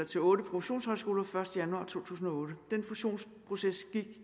til otte professionshøjskoler den første januar to tusind og otte den fusionsproces gik